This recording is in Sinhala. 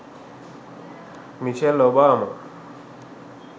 micheal obama